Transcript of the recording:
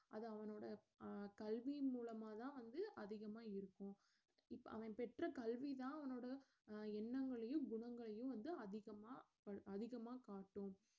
அது அவனோட அஹ் கல்வி மூலமா தான் வந்து அதிகமா இருக்கும் இப்ப அவன் பெற்ற கல்வி தான் அவனோட அஹ் எண்ணங்களையும் குணங்களையும் வந்து அதிகமா அதிகமா காட்டும்